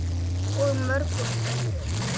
Og mörgum öðrum.